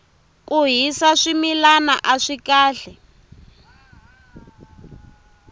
ku hisa swimilana aswi kahle